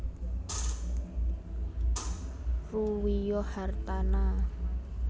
Ruwiyo Hartana